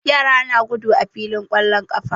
Yara na gudu a filin ƙwallon ƙafa.